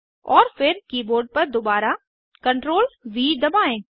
और फिर कीबोर्ड पर दुबारा CTRLV दबाएं